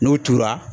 N'o tora